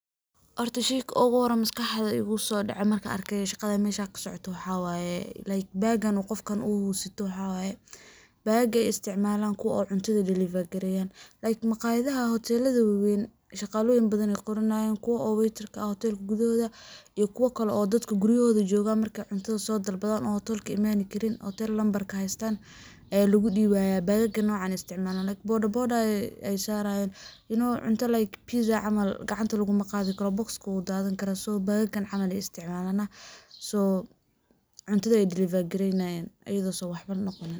Horta sheyga uguhore maskaxda igusodaco markan arke shaqadan mesha kasocoto waxa waye like bagan qofkan uu sito waxa waye bagaga ee isticmalan kuwa oo cuntada deliver gareyan like maqayadaha hotelada weewen shaqaloyin badan ee qoronoyan kuwo oo waiterka ah oo hotelka gudohoda iyo kuwo kalo oo dadka guryahoda joogan marke cuntada soo dalbadan oo hotelka imani karin hotel nambarka heystan aya lagudibaya bagaga noocan ee isticmalan like boda boda ee sarayan you know cunto like pizza cml gacanta lagumaqadi karo oo boxka wuu dhadankara so bagagan kan cmle isticmalan so cuntada wey deliver garenayan iyadaso waxbo noqonin.